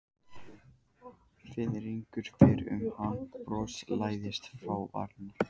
Fiðringur fer um hann og bros læðist fram á varirnar.